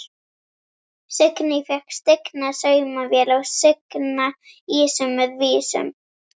Signý fékk stigna saumavél og signa ýsu með víum.